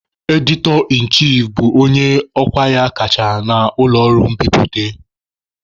"Editor-in-chief" bụ onye ọkwa ya kacha na ụlọ ọrụ mbiputa.